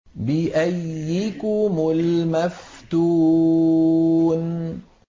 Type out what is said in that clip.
بِأَييِّكُمُ الْمَفْتُونُ